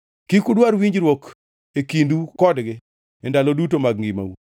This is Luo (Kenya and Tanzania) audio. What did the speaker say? Kik udwar winjruok e kindu kodgi e ndalo duto mag ngimau.